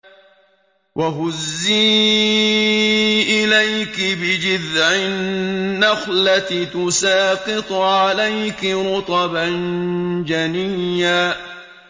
وَهُزِّي إِلَيْكِ بِجِذْعِ النَّخْلَةِ تُسَاقِطْ عَلَيْكِ رُطَبًا جَنِيًّا